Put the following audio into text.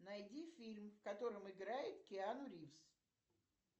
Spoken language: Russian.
найди фильм в котором играет киану ривз